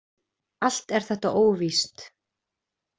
Allt er þetta óvíst.